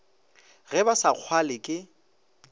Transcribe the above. ge ba sa kgalwe ke